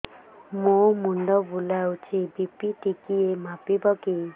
ମୋ ମୁଣ୍ଡ ବୁଲାଉଛି ବି.ପି ଟିକିଏ ମାପିବ କି